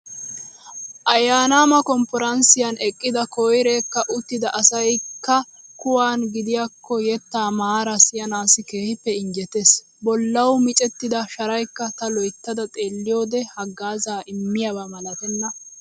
ayyaanaama konffaranssiyaan eqqida koyireekka uttida asayikka kuwaana gidiyaakko yettaa maara siyanaassi keehippe injjetes. Bollawu micettida sharayikka ta loyittada xeelliyoode haggaazzaa immiyaaba malatena.